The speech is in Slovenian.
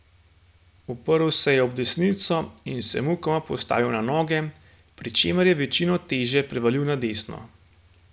Uprl se je ob desnico in se mukoma postavil na noge, pri čemer je večino teže prevalil na desno.